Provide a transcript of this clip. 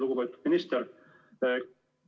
Lugupeetud minister!